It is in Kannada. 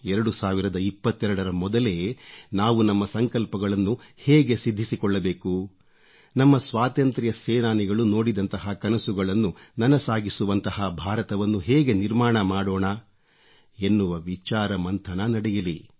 2022ರ ಮೊದಲೇ ನಾವು ನಮ್ಮ ಸಂಕಲ್ಪಗಳನ್ನು ಹೇಗೆ ಸಿದ್ಧಿಸಿಕೊಳ್ಳಬೇಕು ನಮ್ಮ ಸ್ವಾತಂತ್ರ್ಯ ಸೇನಾನಿಗಳು ನೋಡಿದಂತಹ ಕನಸುಗಳನ್ನು ನನಸಾಗಿಸುವಂಥ ಬಾರತವನ್ನು ಹೇಗೆ ನಿರ್ಮಾಣ ಮಾಡೋಣ ಎನ್ನುವ ವಿಚಾರ ಮಂಥನ ನಡೆಯಲಿ